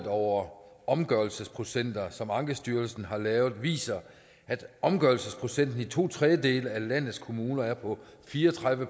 over omgørelsesprocenter som ankestyrelsen har lavet viser at omgørelsesprocenten i to tredjedele af landets kommuner er på fire og tredive